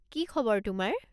কি খবৰ তোমাৰ?